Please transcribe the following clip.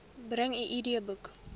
bring u idboek